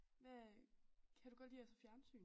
Hvad kan du godt lide at se fjernsyn?